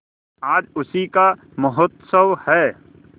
आज उसी का महोत्सव है